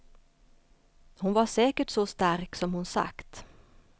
Hon var säkert så stark som hon sagt.